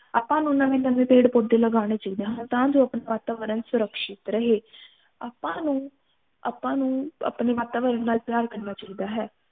ਆਪਾ ਨੂੰ ਨਵੇਂ ਨਵੇਂ ਪੇਡ ਪੋਧੇ ਲਾਣੇ ਚਾਹੀਦੇ ਹਨ ਤਾ ਜੋ ਅਪਣਾ ਵਾਤਾਵਰਨ ਸੁਰਕ੍ਸ਼ਿਤ ਰਹੇ ਆਪਾ ਨੂੰ ਆਪਾ ਨੂੰ ਅਪਣੇ ਵਾਤਾਵਰਨ ਨਾਲ ਪਿਆਰ ਕਰਨਾ ਚਾਹੀਦਾ ਹੈ